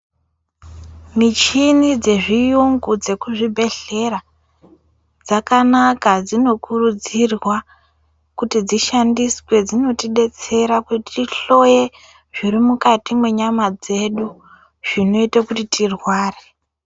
Michini dzezviyungu dzekuzvibhedhlera, dzakanaka dzinokurudzirwa kuti dzishandiswe. Dzinotidetsera kuti tihloye zviri mukati mwenyama dzedu zvinoite kuti tirware.